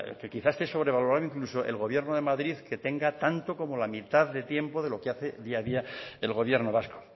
que quizá esté sobre valorado el gobierno de madrid que tenga tanto como la mitad de tiempo de lo que hace día a día el gobierno vasco